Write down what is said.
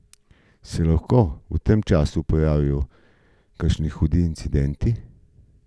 Se lahko v tem času pojavijo kakšni hudih incidenti?